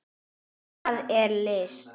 Hvað er list?